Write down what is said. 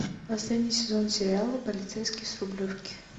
последний сезон сериала полицейский с рублевки